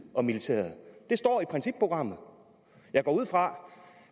og militæret det står i principprogrammet jeg går ud fra